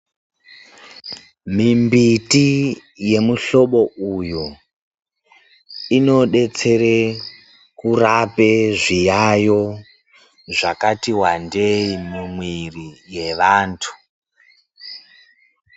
Mimbiti yemuhlobo uyoo inodetsere kurape zviyayo zvakati wandei mumwiri yevantu.